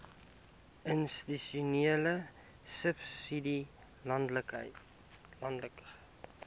institusionele subsidie landelike